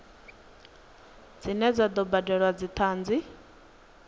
dzine dza do badelwa dzithanzi